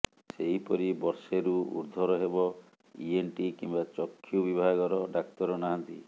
ସେହିପରି ବର୍ଷେରୁ ଊଦ୍ଧ୍ୱର୍ ହେବ ଇଏନ୍ଟି କିମ୍ବା ଚକ୍ଷୁ ବିଭାଗର ଡାକ୍ତର ନାହାନ୍ତି